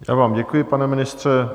Já vám děkuji, pane ministře.